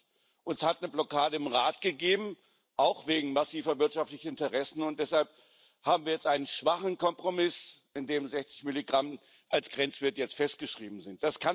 20. Es hat eine Blockade im Rat gegeben, auch wegen massiver wirtschaftlicher Interessen, und deshalb haben wir jetzt einen schwachen Kompromiss, in dem 60 Milligramm als Grenzwert jetzt festgeschrieben sind.